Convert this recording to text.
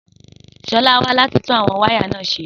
Sọlá wá láti tún àwọn wáyà náà ṣe.